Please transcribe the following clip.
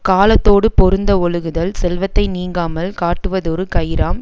காலத்தோடு பொருந்த ஒழுகுதல் செல்வத்தை நீங்காமல் காட்டுவதொரு கயிறாம்